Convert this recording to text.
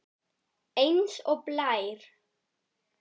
Eins og blær.